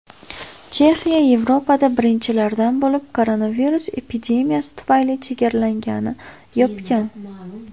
Chexiya Yevropada birinchilardan bo‘lib koronavirus epidemiyasi tufayli chegaralarini yopgan.